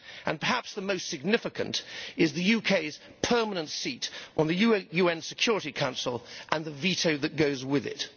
Perhaps the most significant is the UK's permanent seat on the UN Security Council and the veto that goes with it.